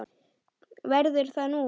Verður það þú?